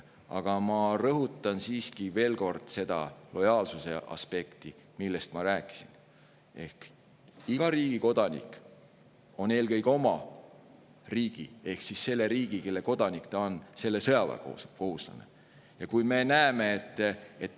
Aga ma rõhutan siiski veel kord seda lojaalsuse aspekti, millest ma rääkisin: iga riigi kodanik on eelkõige oma riigis ehk selles riigis, kelle kodanik ta on, sõjaväekohustuslane.